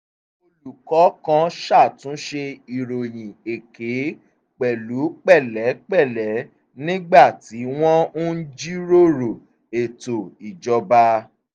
olùkọ́ kan ṣàtúnṣe ìròyìn èké pẹ̀lú pẹ̀lẹ́pẹ̀lẹ́ nígbà tí wọ́n ń jíròrò ètò ìjọba